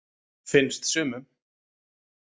Finnst sumum.